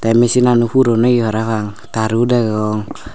eh machinano puron oye parapang taro degong.